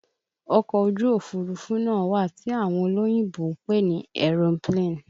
Ọkọ ojú Òfurufú náà wà tí àwọn olóyìnbo ń pè ní aeroplane